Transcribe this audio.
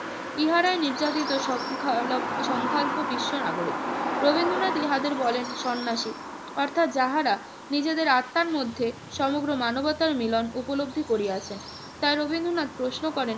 ইহারাই নির্যাতিত সংখ্যালব~ সংখ্যাল্প বিশ্ব নাগরিক। রবীন্দ্রনাথ ইহাদের বলেন সন্ন্যাসী অর্থাৎ যাহারা নিজেদের আত্মার মধ্যে সমগ্র মানবতার মিলন উপলব্ধি করিয়াছেন। তাই রবীন্দ্রনাথ প্রশ্ন করেন,